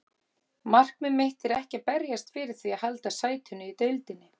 Markmið mitt er ekki að berjast fyrir því að halda sætinu í deildinni.